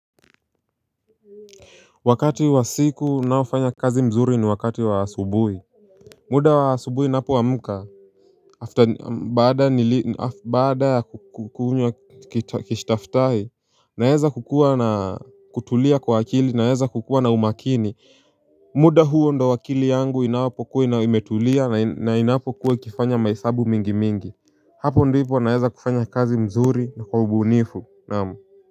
Wakati wa siku unaofanya kazi mzuri ni wakati wa asubuhi. Muda wa asubuhi ninapoamka, baada ya kukunywa kistaftahi naweza kutulia kwa akili naweza kukuwa na umakini. Muda huo ndio akili yangu inapokuwa na imetulia na inapokuwa ikifanya mahesabu mingi mingi. Hapo ndipo naweza kufanya kazi mzuri na kwa ubunifu naam.